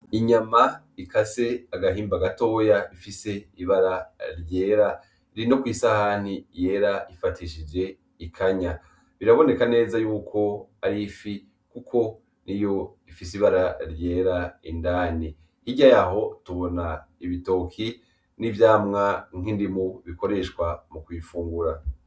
Inyama ikase agahimba gatoya ifise ibara ryera iri no kw'isahani yera ifatishije ikanya biraboneka neza yuko ari ifi kuko niyo ifise ibara ryera indani hirya yaho tubona ibitoke n'ivyamwa nk'indimu bikoreshwa mu kiyifungura.